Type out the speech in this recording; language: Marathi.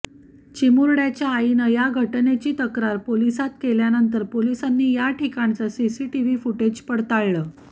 चिमुरड्याच्या आईनं या घटनेची तक्रार पोलिसांत केल्यानंतर पोलिसांनी या ठिकाणचं सीसीटीव्ही फुटेज पडताळलं